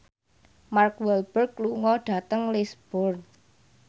Mark Walberg lunga dhateng Lisburn